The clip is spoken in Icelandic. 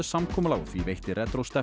samkomulag og því veitti